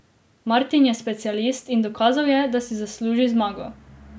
Martin je specialist in dokazal je, da si zasluži zmago.